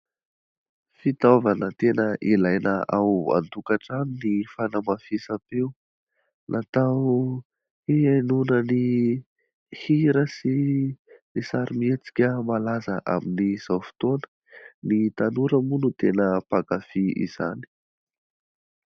Fitaovana tena ilaina ao antokantrano ny fanamafisampeo. Natao hihainoana ny hira sy ny sarimhietsika malaza amin'izao fotoana. Ny tanora moa no tena mpankafy izany.